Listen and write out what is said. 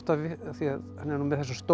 því hann er með